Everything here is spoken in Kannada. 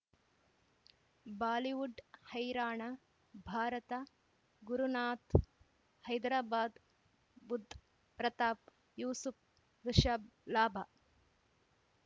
ಬಾಲಿವುಡ್ ಹೈರಾಣ ಭಾರತ ಗುರುನಾಥ್ ಹೈದರಾಬಾದ್ ಬುಧ್ ಪ್ರತಾಪ್ ಯೂಸುಫ್ ರಿಷಬ್ ಲಾಭ